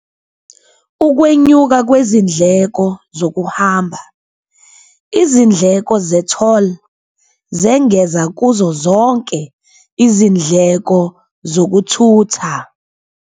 Ukwenyuka kwezindleko zokuhamba, izindleko ze-toll zengeza kuzo zonke izindleko zokuthutha.